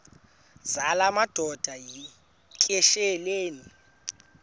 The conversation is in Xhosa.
zala madoda yityesheleni